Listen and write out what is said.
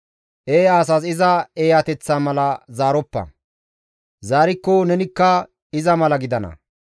Eeya asas iza eeyateththa mala zaaroppa; zaarikko nenikka iza mala gidana.